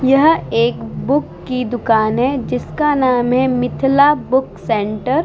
यह एक बुक की दुकान है जिसका नाम है मिथला बुक सेंटर ।